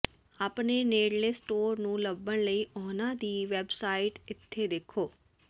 ਆਪਣੇ ਨੇੜਲੇ ਸਟੋਰ ਨੂੰ ਲੱਭਣ ਲਈ ਉਹਨਾਂ ਦੀ ਵੈਬਸਾਈਟ ਇੱਥੇ ਦੇਖੋ